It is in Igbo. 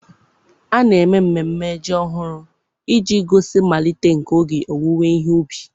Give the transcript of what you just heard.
A na-eme mmemme Ji ọhụrụ iji gosi mmalite nke oge ọwụwe he ubi.